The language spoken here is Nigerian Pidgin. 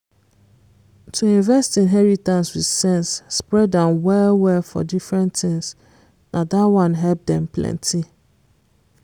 to invest inheritance with sense spread am well well for different things na dat one help dem plenty